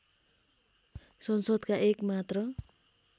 संसदका एक मात्र